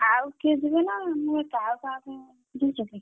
ଆଉ କିଏ ଯିବେ ନା, ମୁଁ ଏକା ଆଉ କାହାକୁ ବୁଝିଛୁ କି?